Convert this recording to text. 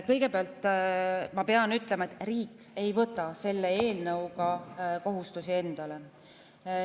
Kõigepealt pean ütlema, et riik ei võta selle eelnõuga kohustusi endale.